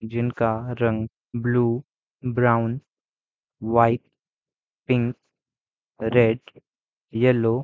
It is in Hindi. जिनका रंग blue brown white pink red yellow --